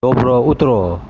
доброе утро